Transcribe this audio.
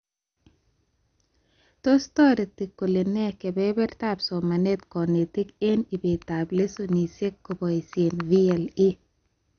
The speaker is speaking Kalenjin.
Tos toreto kolenee kebebertaab somanet konetik eng ibetab lessonishek koboishee VLE